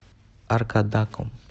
аркадаком